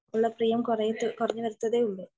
ഉള്ള പ്രിയം കുറഞ്ഞു വരത്തേയുള്ളൂ